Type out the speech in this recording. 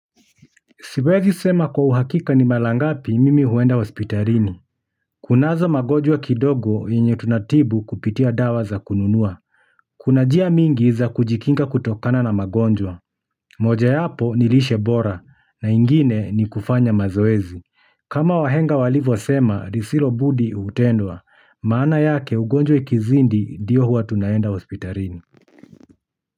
Siwezi sema kwa uhakika ni mara ngapi mimi huenda hospitalini. Kunazo magonjwa kidogo yenye tunatibu kupitia dawa za kununua. Kuna njia mingi za kujikinga kutokana na magonjwa. Mojawapo ni lishe bora, na ingine ni kufanya mazoezi kama wahenga walivyosema, lisilo budi hutendwa. Maana yake ugonjwa ikizidi ndio huwa tunaenda hospitalini.